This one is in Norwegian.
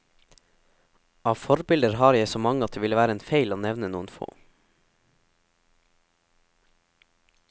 Av forbilder har jeg så mange at det ville være feil å nevne noen få.